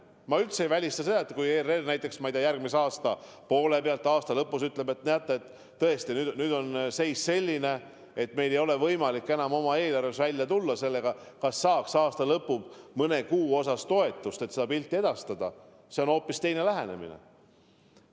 Ma üldse ei välista, et kui ERR näiteks, ma ei tea, järgmise aasta keskel või aasta lõpus ütleb, et tõesti nüüd on seis selline, et meil ei ole võimalik enam oma eelarvega välja tulla ja kas saaks aasta lõpus mõne kuu jagu toetust, et seda pilti edastada – see on hoopis teine lähenemine.